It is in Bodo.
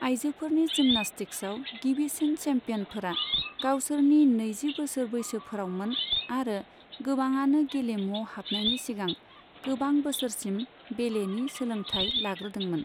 आयजोफोरनि जिम्नास्टिक्साव गिबिसिन चेम्पियनफोरा गावसोरनि नैजि बोसोर बैसोफोरावमोन, आरो गोबाङानो गेलेमुआव हाबनायनि सिगां गोबां बोसोरसिम बेलेनि सोलोंथाय लाग्रोदोंमोन।